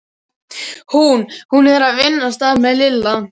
Hún. hún er að vinna stamaði Lilla.